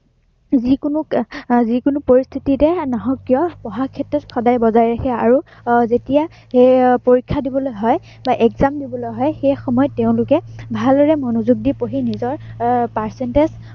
যিকোনো আহ যি কোনো পৰিস্থিতিতে নহওক কিয়, পঢ়াৰ ক্ষেত্ৰত সদায় বজাই ৰাখে আৰু যেতিয়া হম পৰীক্ষা দিবলৈ হয় বা exam দিবলৈ হয়, সেই সময়ত তেওঁলোকে ভালদৰে মনোযোগ দি পঢ়ি নিজৰ আহ percentage